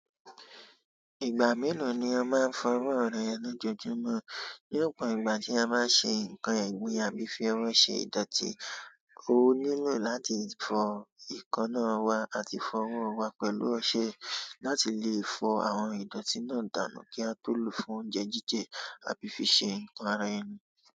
Ìgbà mélòó ni a máa ń fọ ọwọ́ rẹ lójoojúmọ́? Ní ọ̀pọ̀ ìgbà tí a bá ń ṣe nǹkan ẹ̀gbin àbí fi owo ṣe ìdọ̀tí, o nílò láti fọ eekanna wa àti fọ ọwọ́ wa pẹ̀lú ọṣẹ láti lè fọ àwọn ìdọ̀tí náà dànù kí a tó lò ó fún oúnjẹ jíjẹ àbí fi ṣe nǹkan ara ẹni.